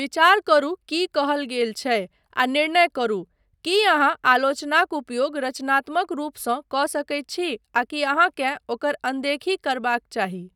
विचार करू की कहल गेल छै आ निर्णय करू, की अहाँ आलोचनाक उपयोग रचनात्मक रूपसँ कऽ सकैत छी आकि अहाँकेँ ओकर अनदेखी करबाक चाही।